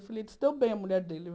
Eu falei, se deu bem a mulher dele.